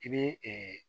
I bɛ